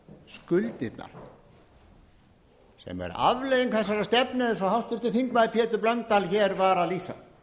skuldirnar sem er afleiðing þessarar stefnu eins háttvirtur þingmaður pétur blöndal hér var að lýsa